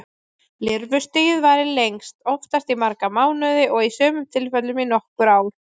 Lirfustigið varir lengst, oftast í marga mánuði og í sumum tilfellum í nokkur ár.